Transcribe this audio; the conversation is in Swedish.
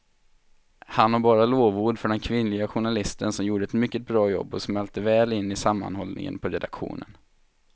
Han har bara lovord för den kvinnliga journalisten som gjorde ett mycket bra jobb och smälte väl in i sammanhållningen på redaktionen.